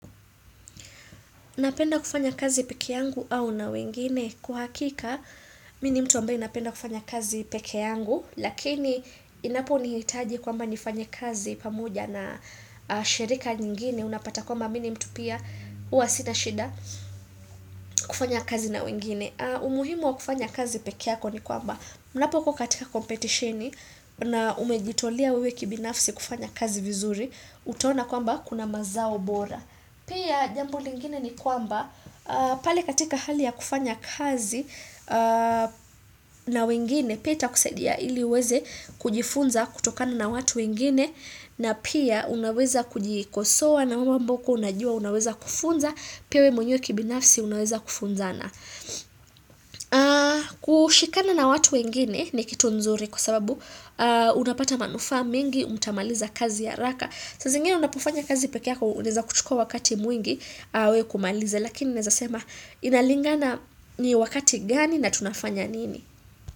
Napenda kufanya kazi pekee yangu au na wengine. Kwa hakika, mimi ni mtu ambaye napenda kufanya kazi pekee yangu. Lakini, inaponihitaji kwamba nifanye kazi pamoja na shirika nyingine. Unapata kwamba mimi ni mtu pia huwa sina shida kufanya kazi na wengine. Umuhimu wa kufanya kazi pekee yako ni kwamba. Unapokuwa jatika competitioni na umejitolea wewe kibinafsi kufanya kazi vizuri. Utaona kwamba kuna mazao bora. Pia jambo lingine ni kwamba pali katika hali ya kufanya kazi na wengine pia itakusaidia ili uweze kujifunza kutokana na watu wengine na pia unaweza kujikosoa na mambo ambayo hukua unajua unaweza kufunza pia wewe mwenye kibinafsi unaweza kufunzana. Kushikana na watu wengine ni kitu nzuri kwa sababu unapata manufaa meng mtamaliza kazi haraka saa zingine unapofanya kazi pekee yako unaeza kuchukua wakati mwingi we kumaliza Lakini naeza sema inalingana ni wakati gani na tunafanya nini.